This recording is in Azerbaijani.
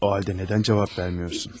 O halda nədən cavab vermirsiniz?